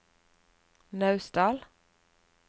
Naustdal